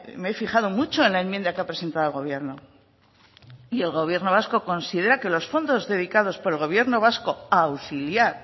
me he fijado mucho en la enmienda que ha presentado el gobierno y el gobierno vasco considera que los fondos dedicados por el gobierno vasco a auxiliar